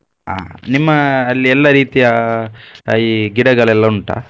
ಹಾ ನಿಮ್ಮ ಅಲ್ಲಿ ಎಲ್ಲಾ ರೀತಿಯಾ ಈ ಗಿಡಗಳೆಲ್ಲ ಉಂಟಾ?